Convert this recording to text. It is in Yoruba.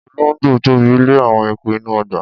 Ologbo Tobi le awon eku inu ogba.